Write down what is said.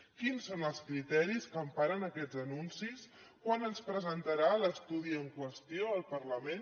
quins són els criteris que emparen aquests anuncis quan ens presentarà l’estudi en qüestió al parlament